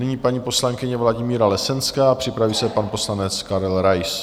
Nyní paní poslankyně Vladimíra Lesenská, připraví se pan poslanec Karel Rais.